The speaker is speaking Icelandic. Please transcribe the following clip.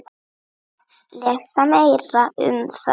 Lesa meira um það hér.